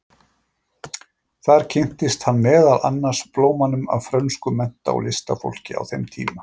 Þar kynntist hann meðal annars blómanum af frönsku mennta- og listafólki á þeim tíma.